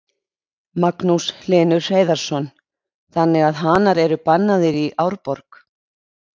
Magnús Hlynur Hreiðarsson: Þannig að hanar eru bannaðir í Árborg?